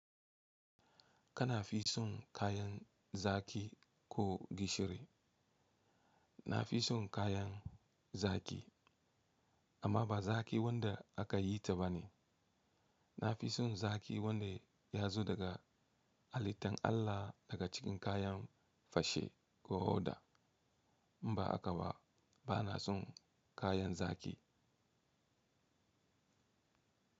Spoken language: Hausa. Kana fi son kayan zaki ko gishiri? Na fi son kayan zaƙi, amma ba zaƙi wanda aka yi ta ba ne. Na fi son zaƙi wanda ya zo daga halittan Allah, daga cikin kayan fashe ko oda. In ba haka ba, ba na son kayan zaƙi.